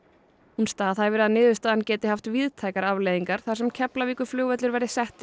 hún staðhæfir að niðurstaðan geti haft víðtækar afleiðingar þar sem Keflavíkurflugvöllur verði settur